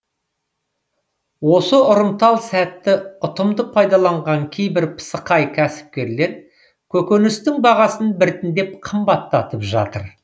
осы ұрымтал сәтті ұтымды пайдаланған кейбір пысықай кәсіпкерлер көкөністің бағасын біртіндеп қымбаттатып жатыр